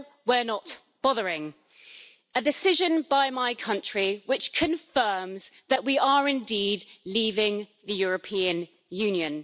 So we're not bothering a decision by my country which confirms that we are indeed leaving the European Union.